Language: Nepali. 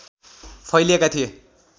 फैलिएका थिए